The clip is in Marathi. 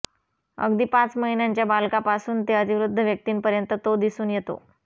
अगदी पाच महिन्यांच्या बालकापासून ते अतिवृद्ध व्यक्तींपर्यंत तो दिसून येतो